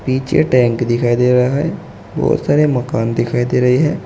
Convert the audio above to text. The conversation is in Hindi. पीछे टैंक दिखाई दे रहा है बहोत सारे मकान दिखाई दे रहे हैं।